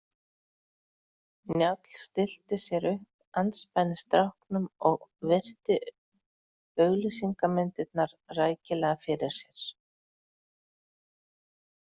Njáll stillti sér upp andspænis stráknum og virti auglýsingamyndirnar rækilega fyrir sér.